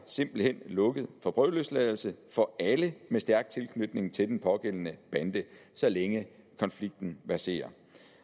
simpelt hen lukket for prøveløsladelse for alle med stærk tilknytning til den pågældende bande så længe konflikten verserer